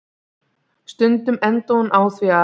Stundum endaði hún á því að